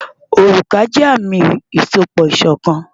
Òrùka jẹ́ àmì ìsopọ̀ṣọ̀kan.